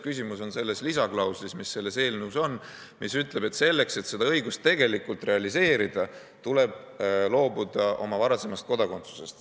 Küsimus on selles lisaklauslis, mis selles eelnõus on, mis ütleb, et selleks, et seda õigust tegelikult realiseerida, tuleb loobuda oma varasemast kodakondsusest.